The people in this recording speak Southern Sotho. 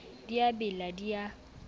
di a bela di a